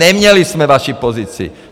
Neměli jsme vaši pozici!